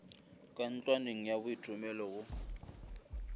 ka ntlwaneng ya boithomelo go